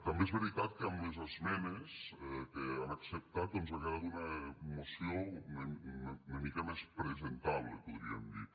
també és veritat que amb les esmenes que han acceptat doncs ha quedat una moció una mica més presentable podríem dir